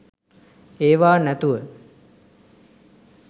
ඒවා නැතුව